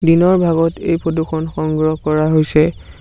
দিনৰ ভাগত এই ফটো খন সংগ্ৰহ কৰা হৈছে।